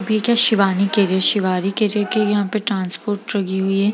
Shivani carrier Shivani carrier के यहाँ पर ट्रांसपोर्ट लगी हुई है।